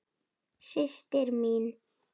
Systir mín.